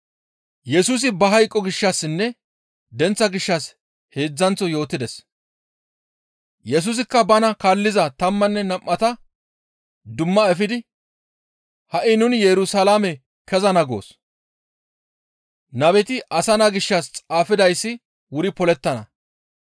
Yesusikka bana kaalliza tammanne nam7ata dumma efidi, «Ha7i nuni Yerusalaame kezana goos; nabeti asa naa gishshas xaafidayssi wuri polettana.